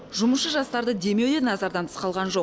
жұмысшы жастарды демеу де назардан тыс қалған жоқ